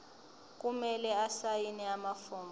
kumele asayine amafomu